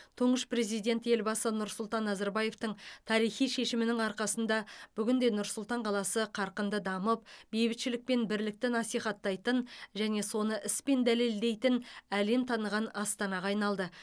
тұңғыш президент елбасы нұрсұлтан назарбаевтың тарихи шешімінің арқасында бүгінде нұр сұлтан қаласы қарқынды дамып бейбітшілік пен бірлікті насихаттайтын және соны іспен дәлелдейтін әлем таныған астанаға айналды